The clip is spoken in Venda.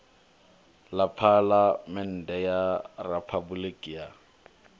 ḽa phaḽamennde ya riphabuliki ya